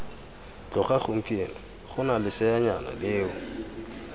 tloga gompieno gona leseanyana leo